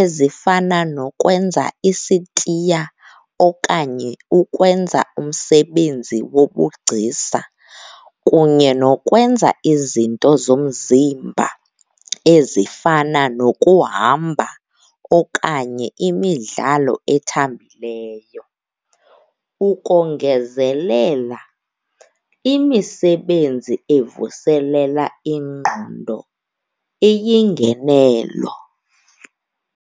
ezifana nokwenza isitiya okanye ukwenza umsebenzi wobugcisa kunye nokwenza izinto zomzimba, ezifana nokuhamba okanye imidlalo ethambileyo. Ukongezelela, imisebenzi ezivuselela ingqondo eyingenelo.